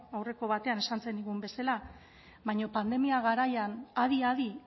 aurreko batean esan zenigun bezala baina pandemia garaian adi adi